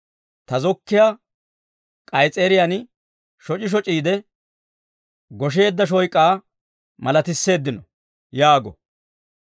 Ta zokkiyaa k'ays's'eeriyaan shoc'i shoc'iide, gosheedda shoyk'aa malatisseeddino» yaago.